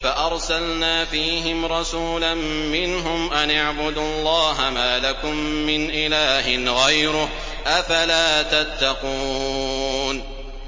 فَأَرْسَلْنَا فِيهِمْ رَسُولًا مِّنْهُمْ أَنِ اعْبُدُوا اللَّهَ مَا لَكُم مِّنْ إِلَٰهٍ غَيْرُهُ ۖ أَفَلَا تَتَّقُونَ